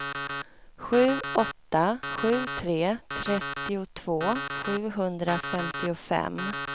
sju åtta sju tre trettiotvå sjuhundrafemtiofem